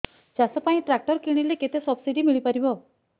ଚାଷ ପାଇଁ ଟ୍ରାକ୍ଟର କିଣିଲେ କେତେ ସବ୍ସିଡି ମିଳିପାରିବ